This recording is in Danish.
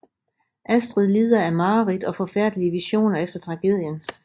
Astrid lider af mareridt og forfærdelige visioner efter tragedien